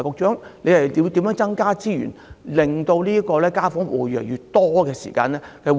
此外，局長會否增撥資源，令護士團隊能夠應付越來越多的家訪戶？